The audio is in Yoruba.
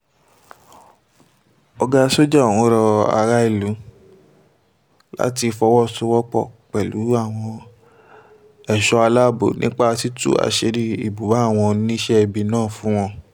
ọ̀gá sójà ọ̀hún rọ aráàlú láti fọwọ́sowọ́pọ̀ pẹ̀lú àwọn ẹ̀ṣọ́ aláàbọ̀ nípa títú àṣìírí ibùba àwọn oníṣẹ̀ẹ́bí náà fún wọn